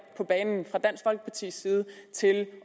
på banen fra dansk folkepartis side til at